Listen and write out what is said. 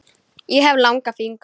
Ég hef langa fingur.